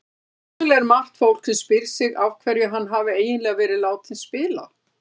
Hugsanlega er margt fólk sem spyr sig af hverju hann hafi eiginlega verið látinn spila?